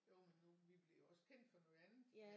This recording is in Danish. Jo men nu vi bliver jo også kendt for noget andet